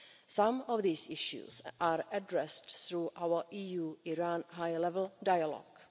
Some of these issues are addressed through our EU Iran high level dialogue.